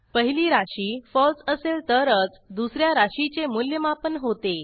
पहिली राशी फळसे असेल तरच दुस या राशीचे मूल्यमापन होते